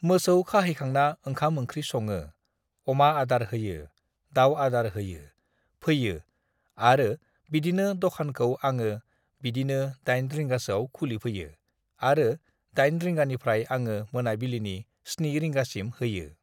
मोसौ खाहैखांना ओंखाम ओंख्रि सङो, म अमा आदार होयो, दाउ आदार होयो फैयो आरो बिदिनो दखानखौ आङो बिदिनो दाइन रिंगासोआव खुलिफैयो आरो। दाइन रिंगानिफ्राय आङो मोनाबिलिनि सन्नि रिंगासिम होयो।